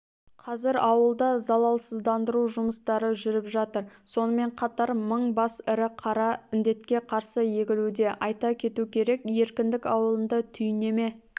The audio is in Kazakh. қазір ауылда залалсыздандыру жұмыстары жүріп жатыр сонымен қатар мың бас ірі қара індетке қарсы егілуде айта кету керек еркіндік ауылында түйнеме